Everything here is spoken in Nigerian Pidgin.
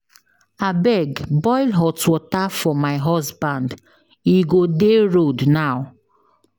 Abeg boil hot water for my husband e go dey road now